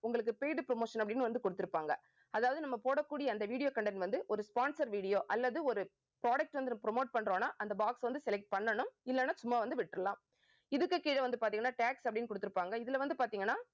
உங்களுக்கு paid promotion அப்படின்னு வந்து கொடுத்திருப்பாங்க. அதாவது நம்ம போடக்கூடிய அந்த video content வந்து ஒரு sponsor video அல்லது ஒரு products வந்து நம்ம promote பண்றோம்னா அந்த box வந்து select பண்ணணும். இல்லைன்னா சும்மா வந்து விட்டரலாம் இதுக்கு கீழே வந்து பார்த்தீங்கன்னா tags அப்படின்னு கொடுத்திருப்பாங்க. இதுல வந்து பார்த்தீங்கன்னா